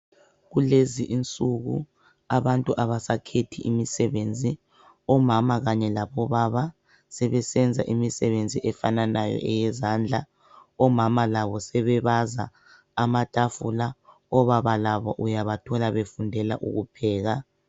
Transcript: Kulezi insuku abantu abasakhethi imisebenzi, omama kanye labobaba sebesenza imisebenzi efananayo eyezandla, omama labo sebebaza amatafula obaba labo uyabathola befundela ukupheka.